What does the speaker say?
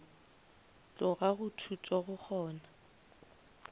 tloga go thuto go kgona